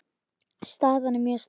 Staðan er mjög sterk.